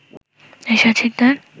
Ershad Sikdar